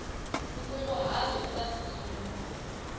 nkunguhato u nga si sungula